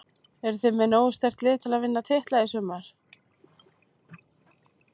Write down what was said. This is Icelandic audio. Eruð þið með nógu sterkt lið til að vinna titla í sumar?